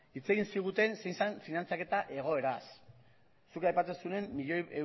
hitz egiten ziguten zein zen finantzaketa egoeraz zuk aipatzen duzunean milioi